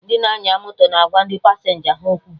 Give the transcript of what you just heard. Ndị na-anya moto na agwa ndị pasenja ha okwu